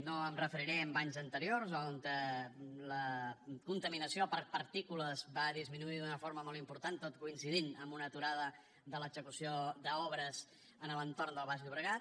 no em referiré a anys anteriors on la contaminació per partícules va disminuir d’una forma molt important tot coincidint amb una aturada de l’execució d’obres a l’entorn del baix llobregat